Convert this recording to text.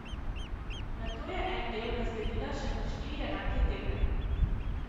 Nato je en del razdelila še na štiri enake dele.